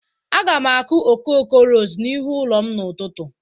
Aga m akụ okoko ros n'ihu ụlọ m n'ụtụtụ.